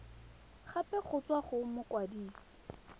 gape go tswa go mokwadise